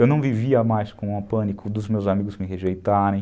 Eu não vivia mais com a pânico dos meus amigos me rejeitarem.